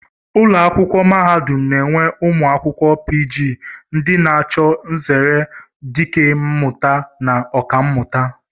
Ụlọakwụkwọ mahadum na-enwe ụmụ akwụkwọ pii jii ndị na-achụ nzere dikemmụta na Ọkammụta